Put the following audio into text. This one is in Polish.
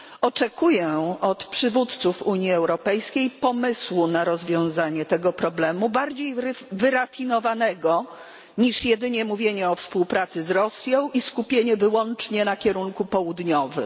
Oczekuję od przywódców Unii Europejskiej pomysłu na rozwiązanie tego problemu, bardziej wyrafinowanego niż jedynie mówienie o współpracy z Rosją i skupienie wyłącznie na kierunku południowym.